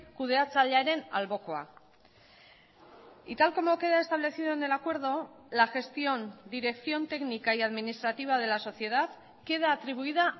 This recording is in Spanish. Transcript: kudeatzailearen albokoa y tal como queda establecido en el acuerdo la gestión dirección técnica y administrativa de la sociedad queda atribuida